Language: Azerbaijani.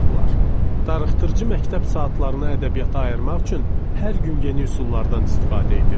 Darıxdırıcı məktəb saatlarına ədəbiyyata ayırmaq üçün hər gün yeni üsullardan istifadə edirdik.